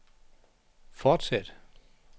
fortsæt